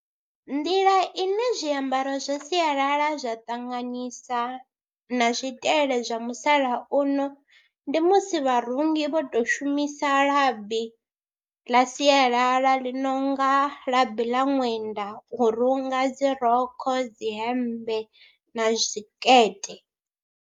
Nḓila ine zwiambaro zwa sialala zwa ṱanganyisa na zwitele zwa musalauno ndi musi vharungi vho tou shumisa labi ḽa sialala ḽi no nga labi ḽa ṅwenda u runga dzi rokho, dzi hemmbe na zwikete.